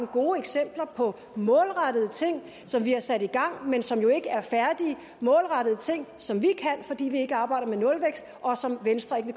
gode eksempler på målrettede ting som vi har sat i gang men som jo ikke er færdige det målrettede ting som vi kan fordi vi ikke arbejder med nulvækst og som venstre ikke